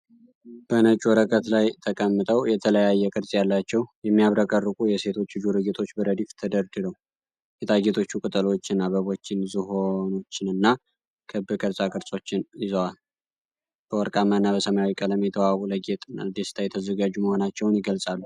በነጭ ወረቀት ላይ ተቀምጠው፣ የተለያየ ቅርጽ ያላቸው፣ የሚያብረቀርቁ የሴቶች የጆሮ ጌጦች በረድፍ ተደርድረው። ጌጣጌጦቹ ቅጠሎችን፣ አበቦችን፣ ዝሆኖችንና ክብ ቅርጾችን ይዘዋል፣ በወርቃማና በሰማያዊ ቀለም የተዋቡት ለጌጥና ለደስታ የተዘጋጁ መሆናቸውን ይገልጻሉ።